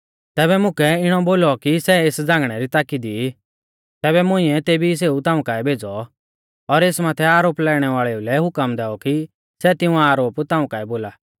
तैबै मुकै इणौ बोलौ कि सै एस झ़ांगणै री ताकी दी ई तैबै मुंइऐ तेबी सेऊ ताऊं काऐ भेज़ौ और एस माथै आरोप लाइणै वाल़ेऊ लै हुकम दैऔ कि सै तिऊं आरोप ताऊं काऐ बोला